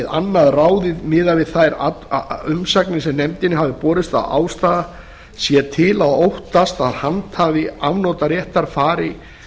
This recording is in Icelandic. annað ráðið miðað við þær umsagnir sem nefndinni hafa borist að ástæða sé til að óttast að handhafi afnotaréttar fari